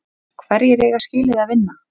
Hverjir eiga skilið að vinna?